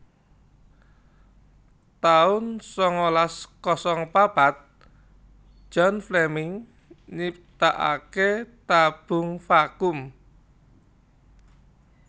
taun sangalas kosong papat John Fleming nyiptakaké tabung vakum